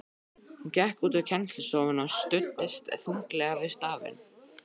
Hún gekk út úr kennslustofunni og studdist þunglega við stafinn.